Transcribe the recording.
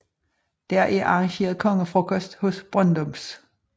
Der er arrangeret kongefrokost hos Brøndums